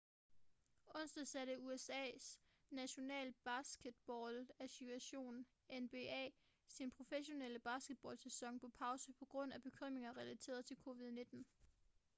onsdag satte usas national basketball association nba sin professionelle basketball-sæson på pause på grund af bekymringer relateret til covid-19